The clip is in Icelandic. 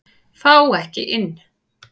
Fá ekki inni